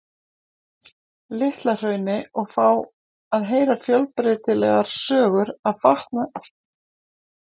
Litla-Hrauni og fá að heyra fjölbreytilegar sögur af farnaði þeirra og kjörum í prísundinni.